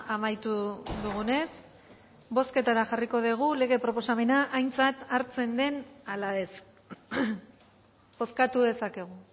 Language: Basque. amaitu dugunez bozketara jarriko dugu lege proposamena aintzat hartzen den ala ez bozkatu dezakegu